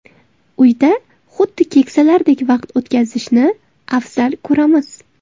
Uyda xuddi keksalardek vaqt o‘tkazishni afzal ko‘ramiz.